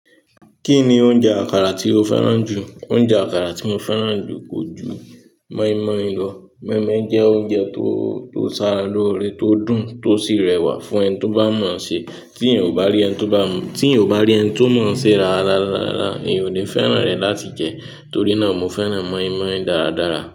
Kí ni oúnjẹ àkàrà tí o fẹ́ràn jù? Oúnjẹ àkàrà tí mo fẹ́ràn jù kò ju moinmoin lọ. Moinmoin jẹ́ oúnjẹ tó, tó ṣàrà lóore, tó dùn, tó sì rẹwà fún ẹni tó bá mọ̀n ṣe. Tí èyàn ò bá rí ẹni tóbá tí ẹ̀èyàn ò bá rí ẹni tó mọ̀ ọ́n ṣe rárá, rárá, rárá, mi ò ní fẹ́ràn rẹ̀ láti jẹ, torí náà mo fẹ́ràn moinmoin dáradára.